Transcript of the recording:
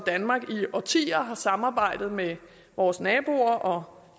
danmark i årtier har samarbejdet med vores naboer og